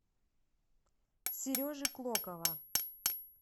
сережи клокова